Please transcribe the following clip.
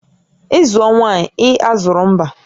Ị zụọ nwaanyị, ị azụrụ mba